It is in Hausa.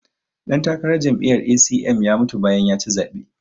ɗantakarar jami'yar A.c.m ya mutu bayan ya ci zaɓe